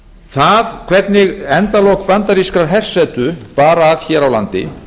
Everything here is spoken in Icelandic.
það hvernig endalok bandarískrar hersetu bar að hér á landi